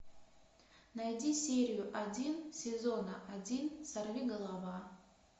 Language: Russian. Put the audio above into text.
найди серию один сезона один сорвиголова